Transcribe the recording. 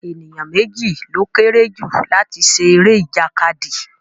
Ènìyàn méjì ló kéré jù láti ṣe eré ìjàkadì